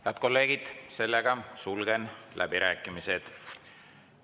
Head kolleegid, sulgen läbirääkimised.